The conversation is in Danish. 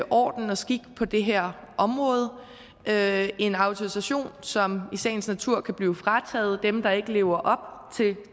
orden og skik på det her område med en autorisation som i sagens natur kan blive frataget dem der ikke lever op